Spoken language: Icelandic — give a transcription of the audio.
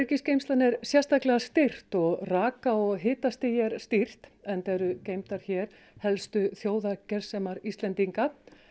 öryggisgeymslan er sérstaklega styrkt og raka og hitastigi er stýrt enda eru hér helstu þjóðargersemar Íslendinga